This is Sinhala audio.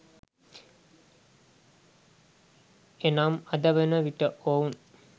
එනම් අදවන විට ඔවුන්